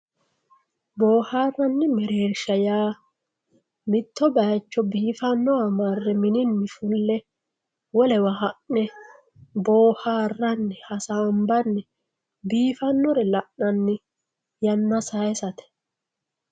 boohaaranni mereersha yaa mitto bayiicho biifanniwa marre mininni fulle wolewa ha'ne boohaarranni hasaambanni biifannore la'nanni yanna sayiisate.